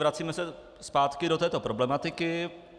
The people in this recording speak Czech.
Vracíme se zpátky do této problematiky.